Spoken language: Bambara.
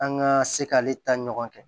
An ka se k'ale ta ɲɔgɔn kɛ